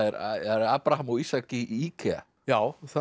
Abraham og Ísak í IKEA já þar